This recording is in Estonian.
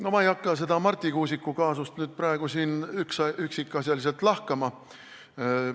No ma ei hakka seda Marti Kuusiku kaasust nüüd praegu siin üksikasjaliselt lahkama.